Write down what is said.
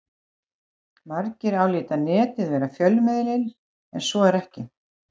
Margir álíta Netið vera fjölmiðil en svo er ekki.